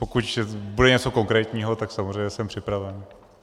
Pokud bude něco konkrétního, tak samozřejmě jsem připraven.